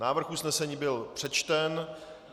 Návrh usnesení byl přečten.